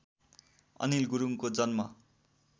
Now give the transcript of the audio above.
अनिल गुरुङको जन्म